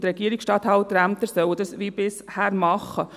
Die Regierungsstatthalterämter sollen dies wie bisher tun.